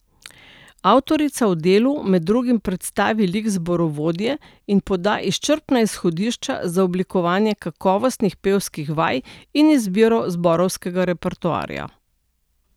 Avtorica v delu med drugim predstavi lik zborovodje in poda izčrpna izhodišča za oblikovanje kakovostnih pevskih vaj in izbiro zborovskega repertoarja.